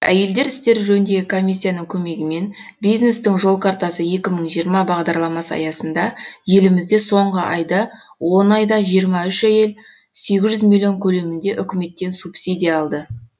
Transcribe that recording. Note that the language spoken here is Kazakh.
әйелдер істері жөніндегі комиссияның көмегімен бизнестің жол картасы екі мың жиырма бағдарламасы аясында елімізде соңғы он айда жиырма үш әйел сегіз жүз миллион көлемінде үкіметтен субсидия алды